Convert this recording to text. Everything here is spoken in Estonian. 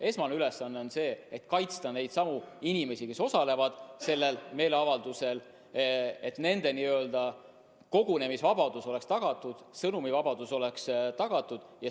Esmane ülesanne on kaitsta neidsamu inimesi, kes osalevad meeleavaldusel, et nende n-ö kogunemisvabadus oleks tagatud, sõnavabadus oleks tagatud.